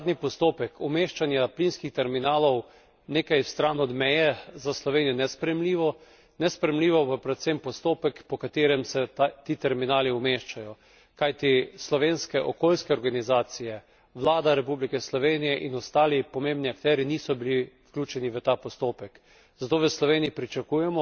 Zato je tudi zadnji postopek umeščanja plinskih terminalov nekaj stran od meje za Slovenijo nesprejemljivo, nesprejemljivo pa je predvsem postopek po katerem se ti terminali umeščajo, kajti slovenske okoljske organizacije, vlada Republike Slovenije in ostali pomembni akterji niso bili vključeni v ta postopek.